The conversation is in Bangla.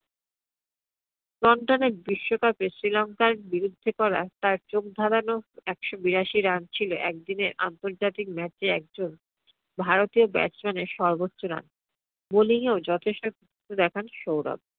বিশ্বকাপে Sri Lanka এর বিরুদ্ধে করা তার চোখধাঁধানো একশো বিরাশি run ছিল এক দিনের আন্তর্জাতিক match এ একজন ভারতীয় batsman এর সর্বোচ্চ run. bwoling এও যথেষ্ট দেখান সৌরভ।